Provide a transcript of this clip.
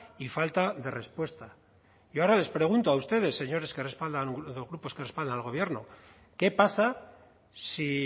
y falta de respuesta yo ahora les pregunto a ustedes señores de los grupos que respaldan al gobierno qué pasa si